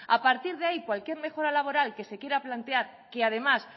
a partir de ahí cualquier mejora laboral que se quiera plantear que además